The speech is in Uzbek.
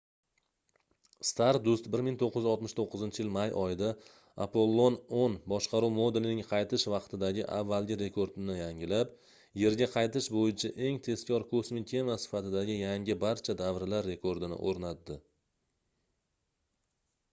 stardust 1969-yil may oyida apollon x boshqaruv modulining qaytish vaqtidagi avvalgi rekordini yangilab yerga qaytish boʻyicha eng tezkor kosmik kema sifatidagi yangi barcha davrlar rekordini oʻrnatdi